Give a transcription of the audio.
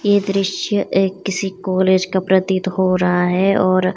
ये दृश्य किसी ए कॉलेज का प्रतीत हो रहा है और --